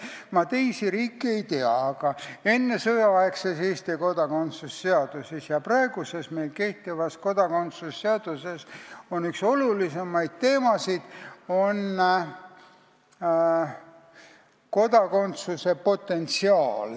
Ma teiste riikide kohta ei tea, aga ennesõjaaegses Eesti kodakondsuse seaduses ja meil praegu kehtivas kodakondsuse seaduses on üks olulisemaid teemasid kodakondsuse potentsiaal.